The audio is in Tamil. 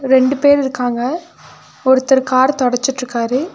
ரெண்டு பேர் இருக்காங்க ஒருத்தர் கார் தொடச்சிட்ருக்காரு.